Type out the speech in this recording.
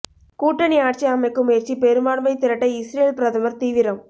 கூட்டணி ஆட்சி அமைக்கும் முயற்சி பெரும்பான்மை திரட்ட இஸ்ரேல் பிரதமர் தீவிரம்